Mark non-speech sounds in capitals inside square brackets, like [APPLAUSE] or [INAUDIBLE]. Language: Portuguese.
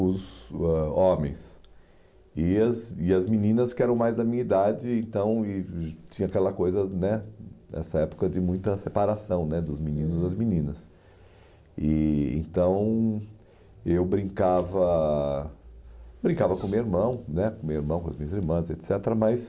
os ãh homens e as e as meninas que eram mais da minha idade então e [UNINTELLIGIBLE] tinha aquela coisa né nessa época de muita separação né dos meninos das meninas e então eu brincava brincava com meu irmão né com meu irmão com as minhas irmãs et cetera mas